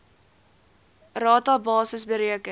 rata basis bereken